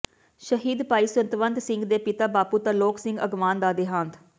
ਸ਼ਹੀਦ ਭਾਈ ਸਤਵੰਤ ਸਿੰਘ ਦੇ ਪਿਤਾ ਬਾਪੂ ਤਰਲੋਕ ਸਿੰਘ ਅਗਵਾਨ ਦਾ ਦੇਹਾਂਤ